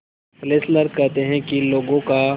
Fessler कहते हैं कि लोगों का